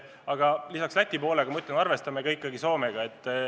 Aga ma ütlen, et lisaks Lätile me arvestame ikkagi ka Soomega.